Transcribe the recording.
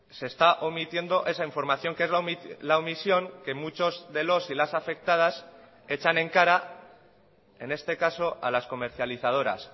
se está omitiendo esa información que es la omisión que muchos de los y las afectadas echan en cara en este caso a las comercializadoras